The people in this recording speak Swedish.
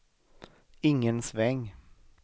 ingen sväng